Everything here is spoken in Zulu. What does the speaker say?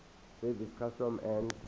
service customs and